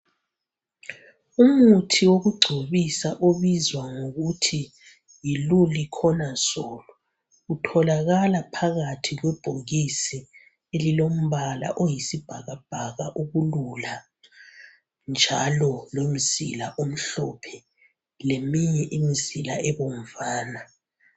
Umuthi wokugcobisa obizwa ngokuthi yiLuliconazole utholakala phakathi kwebhokisi elilombala oyisibhakabhaka okulula njalo lomzila omhlophe leminye imzila ebomvana.